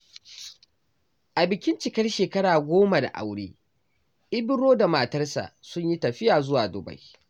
A bikin cikar shekara goma da aure, Ibro da matarsa sun yi tafiya zuwa Dubai.